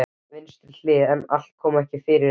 Á vinstri hlið, en allt kom fyrir ekki.